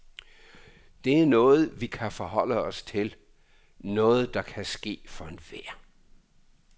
Det er noget, vi kan forholde os til, noget der kan ske for enhver.